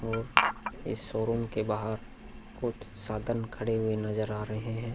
और इस शोरूम के बाहर कुछ साधन खड़े हुए नजर आ रहे हैं।